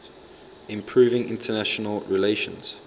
improving international relations